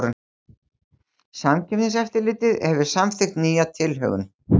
Samkeppniseftirlitið hefur samþykkt nýja tilhögun